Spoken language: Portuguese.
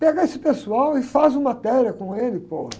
Pega esse pessoal e faz uma matéria com ele.